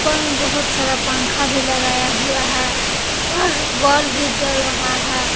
में बहुत सारा पंखा भी लगाया हुआ है और बल्ब भी जल रहा है।